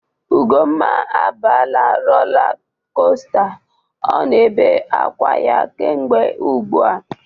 Ugomma abala rola kosta ọ na-ebe akwa ya kemgbe ugbu a.